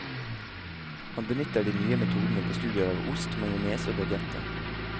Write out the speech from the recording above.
Han benytter de nye metodene på studier av ost, majones og baguetter.